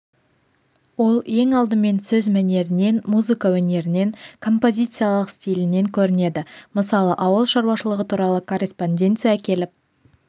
ол ең алдымен сөз мәнерінен музыка өнерінен композициялық стилінен көрінеді мысалы ауыл шаруашылығы туралы корреспонденция келіп